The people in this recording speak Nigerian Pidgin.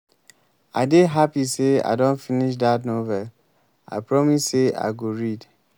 i dey happy say i don finish dat novel i promise say i go read